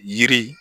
Yiri